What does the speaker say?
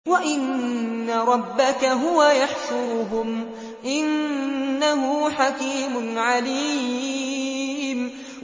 وَإِنَّ رَبَّكَ هُوَ يَحْشُرُهُمْ ۚ إِنَّهُ حَكِيمٌ عَلِيمٌ